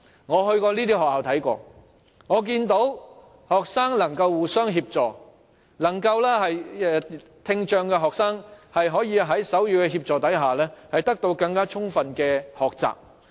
我曾到過這些學校，看到學生能互相協助，聽障學生可在手語協助下獲得更充分的學習。